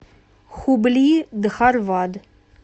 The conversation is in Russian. хубли дхарвад